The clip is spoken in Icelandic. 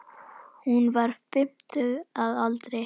Hún var fimmtug að aldri.